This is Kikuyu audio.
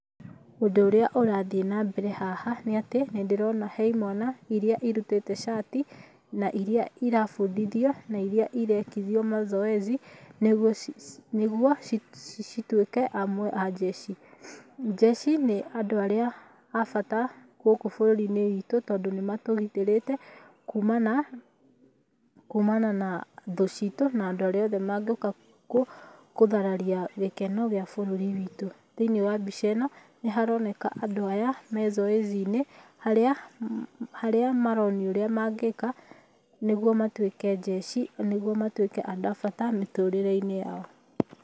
Ũndũ ũrĩa ũrathiĩ na mbere haha nĩ atĩ nĩ ndĩrona he imwana iria irutĩte cati na iria irabundithio na iria irekithio mazoezi nĩgũo cituĩke amwe a njeci. Njeci nĩ andũ arĩa abata gũkũ bũrũri-inĩ witũ tondũ nĩ matũgitĩrĩte kumana na thũ citũ na andũ arĩa mangĩũka gũthararia gĩkeno gĩa bũrũri witũ. Thĩinĩ wa mbica ĩno nĩharoneka andũ aya me zoezi -inĩ harĩa maronio ũrĩa mangĩka nĩguo matuĩke njeci nĩgũo matuĩke andũ abata mĩtũrĩre-inĩ yao.